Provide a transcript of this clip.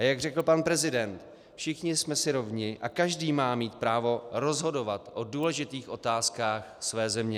A jak řekl pan prezident, všichni jsme si rovni a každý má mít právo rozhodovat o důležitých otázkách své země.